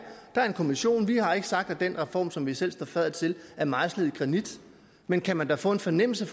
bare en kommission vi har ikke sagt at den reform som vi selv står fadder til er mejslet i granit men kan man da få en fornemmelse